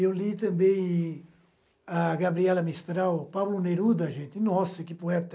Eu li também a Gabriela Mistral, o Pablo Neruda, gente, nossa, que poeta!